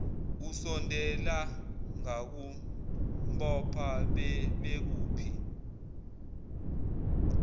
usondela ngakumbopha bebekuphi